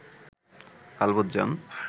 আলবৎ যান